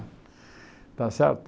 Está certo?